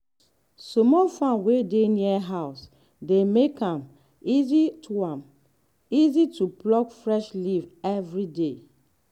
small farm wey dey near house dey make am easy to am easy to pluck fresh leaf every day.